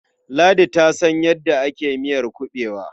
Ladi ta san yadda ake miyar kuɓewa.